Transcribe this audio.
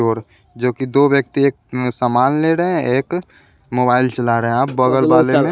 ओर जो कि दो व्यक्ति एक अ सामान ले रहे हैं एक मोबाइल चला रहा है आप बगल वाले--